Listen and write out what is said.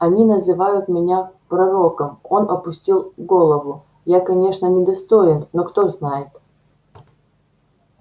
они называют меня пророком он опустил голову я конечно недостоин но кто знает